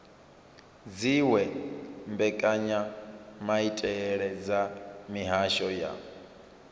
dziwe mbekanyamaitele dza mihasho ya